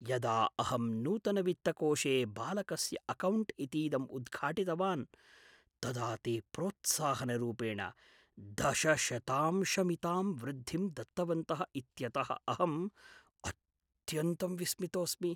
यदा अहं नूतनवित्तकोषे बालकस्य अकौण्ट् इतीदम् उद्घाटितवान् तदा ते प्रोत्साहनरूपेण दशशतांशमितां वृद्धिं दत्तवन्तः इत्यतः अहम् अत्यन्तं विस्मितोऽस्मि ।